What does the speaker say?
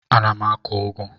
Ana m akụ ụgụ.